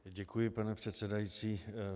Děkuji pane předsedající.